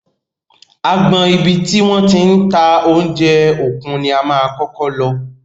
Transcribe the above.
Agbọn ibi tí wọ́n ti ń ta oúnjẹ òkun ni a máa kọ́kọ́ lọ.